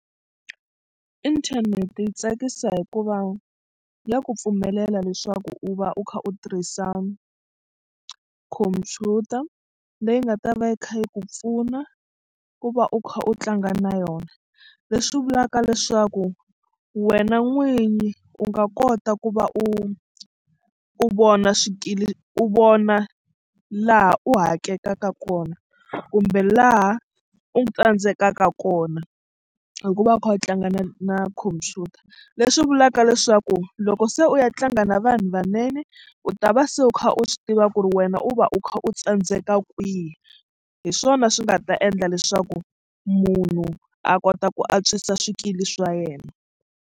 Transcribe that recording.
Inthanete yi tsakisa hikuva ya ku pfumelela leswaku u va u kha u tirhisa computer leyi nga ta va yi kha yi ku pfuna ku va u kha u tlanga na yona leswi vulaka leswaku wena n'winyi u nga kota ku va u u vona swikili u vona laha u hakekaka kona kumbe laha u tsandzekaka kona hikuva u kha u tlanga na na khompyuta. Leswi vulaka leswaku loko se u ya tlanga na vanhu vanene u ta va se u kha u swi tiva ku ri wena u va u kha u tsandzeka kwihi hi swona swi nga ta endla leswaku munhu a kota ku antswisa swikili swa yena.